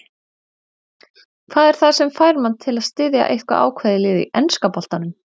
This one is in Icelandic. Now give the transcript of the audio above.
Hvað er það sem fær mann til að styðja eitthvað ákveðið lið í enska boltanum?